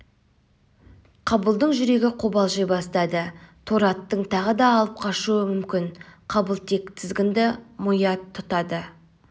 қабылдың жүрегі қобалжи бастады торы аттың тағы да алып қашуы мүмкін қабыл тек тізгінді мият тұтады